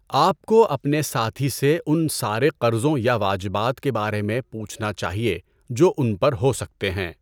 آپ کو اپنے ساتھی سے ان سارے قرضوں یا واجبات کے بارے میں پوچھنا چاہیے جو ان پر ہو سکتے ہیں۔